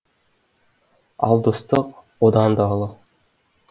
ал достық одан да ұлы